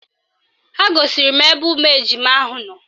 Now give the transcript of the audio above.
Ha gosiri m ebe ụmụ ejima ahụ nọ